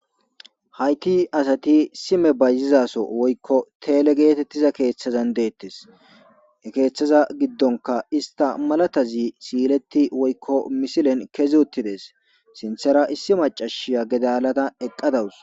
haytti asati sime bayzizaso woykko teele geetettiza keeththazan deettes keeththaza giddonka ista malatazi siileti woykko misilen kezuttides sinthera issi macashiya gedalata eqqadawus